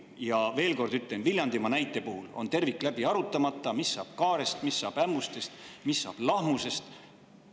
Ja ütlen veel kord, et Viljandimaa näite puhul on läbi arutamata, mis saab Kaarest, mis saab Ämmustest ja mis saab Lahmusest.